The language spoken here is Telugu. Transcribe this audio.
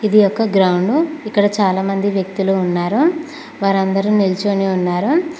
ఇది ఒక గ్రౌండు ఇక్కడ చాలా మంది వ్యక్తులు ఉన్నారు వారందరూ నిల్చొని ఉన్నారు.